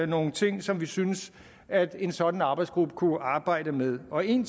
nogle ting som vi synes at en sådan arbejdsgruppe kunne arbejde med og en